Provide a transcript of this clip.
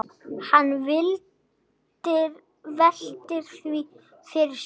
Hann veltir því fyrir sér.